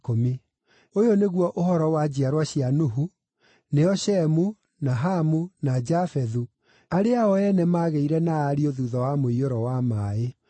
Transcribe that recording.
Ũyũ nĩguo ũhoro wa njiarwa cia Nuhu, nĩo Shemu, na Hamu, na Jafethu, arĩa o ene maagĩire na ariũ thuutha wa mũiyũro wa maaĩ.